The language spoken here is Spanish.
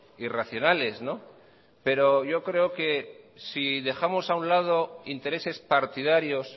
y racionales pero yo creo que si dejamos a un lado intereses partidarios